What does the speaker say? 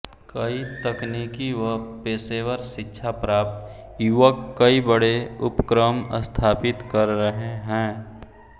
कई तकनीकी व पेशेवर शिक्षा प्राप्त युवक कई बड़े उपक्रम स्थापित कर रहे हैं